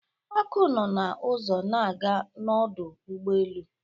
Aku nọ na-ụzọ na-aga n'ọdụ ụgbọelu.